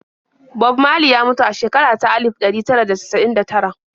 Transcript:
Bob Marley ya mutu a shekara ta alif ɗari tara da casa'in da tara.